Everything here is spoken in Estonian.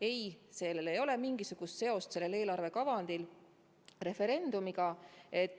Ei, sellel eelarve kavandil ei ole mingisugust seost referendumiga.